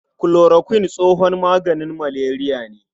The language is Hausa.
Kulorokuin tsohon maganin maleriya ne.